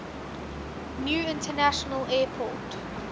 new international airport